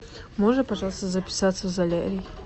можно пожалуйста записаться в солярий